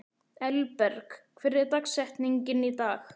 Elberg, hver er dagsetningin í dag?